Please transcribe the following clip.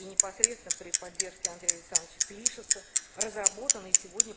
и непосредственно при поддержке андрея саныча клишеса разработаны сегодня